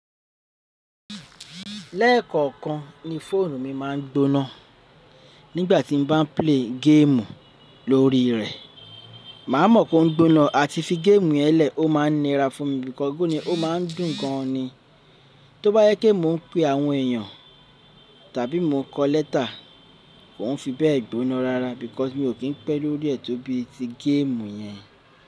Lẹ́kọ̀ọ̀kan ni fóònù mi máa ń gbóná nígbà tí mo bá ń play game lórí rẹ̀. Màá mọ̀ pé ó ń gbóná àti fi game yẹn lẹ̀, ó máa ń nira fún mi because ó máa ń dùn gan an ni. Tó bá yẹ kí mò ń pe àwọn èèyàn tàbí mo kọ lẹ́tà, kò fi bẹ́ẹ̀ gbóná rárá because mi ò kí ń pẹ́ lórí ẹ̀ tó bí i ti game yẹn.